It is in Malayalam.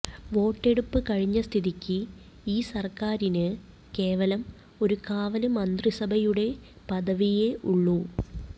വോട്ടെടുപ്പ് കഴിഞ്ഞ സ്ഥിതിക്ക് ഈ സര്ക്കാരിന് കേവലം ഒരു കാവല് മന്ത്രിസഭയുടെ പദവിയേ ഉള്ളൂ